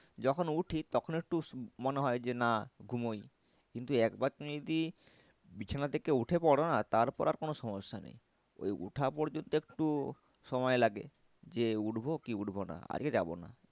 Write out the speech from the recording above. যখন উঠি তখন একটু মনে হয় যে না ঘুমাই কিন্তু একবার তুমি যদি বিছানা থেকে উঠে পরো না তার পর আর সমস্যা নেই ওই ওঠা পর্যন্ত একটু সময় লাগে যে উঠবো কি উঠবো না আজকে যাবো না।